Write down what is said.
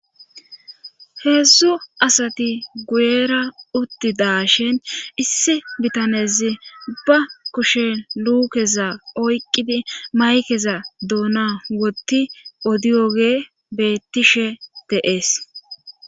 Heedzdzu asati guyera utti da shin issi bitanezi ba kushen luukeza oyqqidi maykeza doona wotti odiyogee beettishe deees